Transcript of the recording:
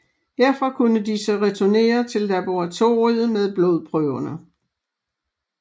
Herfra kunne de så returnere til laboratoriet med blodprøverne